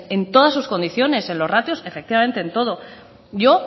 en todas sus condiciones en los ratios efectivamente en todo yo